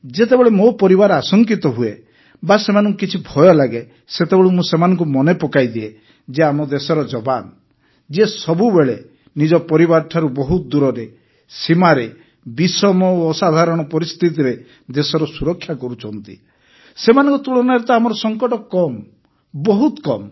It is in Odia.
ଯେତେବେଳେ ମୋ ପରିବାର ଆଶଙ୍କିତ ହୁଏ ବା ସେମାନଙ୍କୁ କିଛି ଭୟ ଲାଗେ ସେତେବେଳେ ମୁଁ ସେମାନଙ୍କୁ ମନେ ପକାଇଦିଏ ଯେ ଆମ ଦେଶର ଯବାନ ଯିଏ ସବୁବେଳେ ନିଜ ପରିବାରଠାରୁ ବହୁତ ଦୂରରେ ସୀମାରେ ବିଷମ ଓ ଅସାଧାରଣ ପରିସ୍ଥିତିରେ ଦେଶର ସୁରକ୍ଷା କରୁଛନ୍ତି ସେମାନଙ୍କ ତୁଳନାରେ ତ ଆମର ସଙ୍କଟ କମ୍ ବହୁତ କମ୍